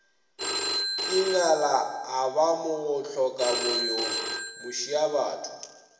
ingala a ba mohlokaboyo mošiabatho